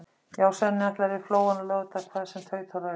Já, Svenni ætlar yfir Flóann á laugardag hvað sem tautar og raular.